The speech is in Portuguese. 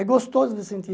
É gostoso de sentir.